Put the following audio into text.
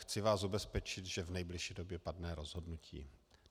Chci vás ubezpečit, že v nejbližší době padne rozhodnutí.